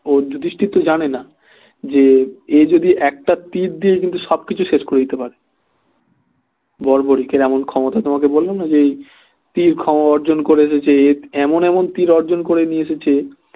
ও যুধিষ্টির তো জানে না যে এ যদি একটা তীর দিয়ে কিন্তু সবকিছু শেষ করে দিতে পারে বড়বড়িকের এমন ক্ষমতা তোমাকে বললাম না যে এই তীর অর্জন করে এসেছে এ এমন এমন তীর অর্জন করে নিয়ে এসেছে